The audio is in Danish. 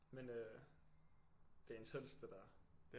Men øh det er intenst det der